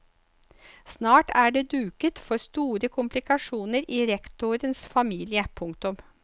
Snart er det duket for store komplikasjoner i rektorens familie. punktum